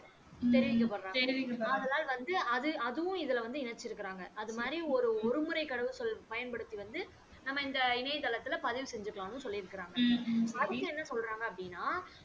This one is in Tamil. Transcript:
தெரிவிக்க படறாங்க ஆதலால் வந்து அதுவும் இதுல இணைச்சி இருக்காங்க அது மாறி ஒரு ஒரு முறை பயன் படுத்தி வந்து நம்ப இணைய தளத்தில் பதிவு செஞ்சிக்கலாம் அப்படின்னும் சொல்லி இருக்காங்க ம்ம் அடுத்து என்ன சொல்றாங்க அப்படின்னா